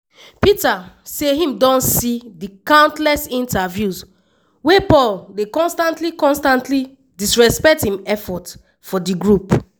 peter say im don see di countless interviews wey paul dey constantly constantly discredit im effort for di group.